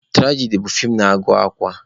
Turajadi bụ fii na-agụ akwa.